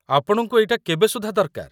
ଆପଣଙ୍କୁ ଏଇଟା କେବେ ସୁଦ୍ଧା ଦରକାର?